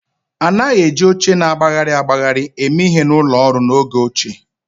A naghị eji oche na-agbagharị agbagharị eme ihe na ụlọ ọrụ n'oge ochie